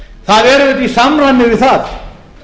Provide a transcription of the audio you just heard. það er auðvitað í samræmi við það